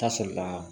Ka sɔrɔ ka